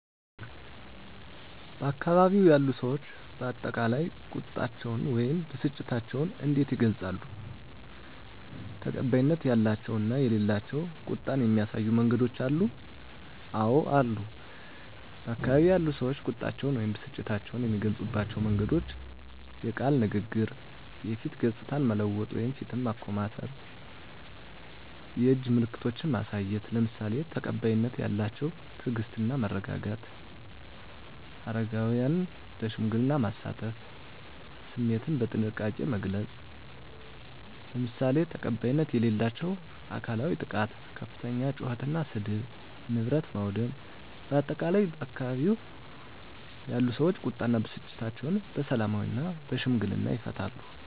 በአካባቢው ያሉ ሰዎች በአጠቃላይ ቁጣቸውን ወይም ብስጭታቸውን እንዴት ይገልጻሉ? ተቀባይነት ያላቸው እና የሌላቸው ቁጣን የሚያሳዩ መንገዶች አሉ? *አወ አሉ፦ በአካባቢው ያሉ ሰዎች ቁጣቸውን ወይም ብስጭታቸውን የሚገልጹባቸው መንገዶች፦ * የቃል ንግግር *የፊት ገጽታን መለወጥ (ፊትን ማኮሳተር)፣ *የእጅ ምልክቶችን ማሳየት፣ **ለምሳሌ፦ ተቀባይነት ያላቸው * ትዕግስት እና መረጋጋት: * አረጋውያንን ለሽምግልና ማሳተፍ።: * ስሜትን በጥንቃቄ መግለጽ: **ለምሳሌ፦ ተቀባይነት የሌላቸው * አካላዊ ጥቃት * ከፍተኛ ጩኸት እና ስድብ: * ንብረት ማውደም: በአጠቃላይ፣ ባካባቢው ያሉ ሰዎች ቁጣ እና ብስጭታቸውን በሰላማዊና በሽምግልና ይፈታሉ።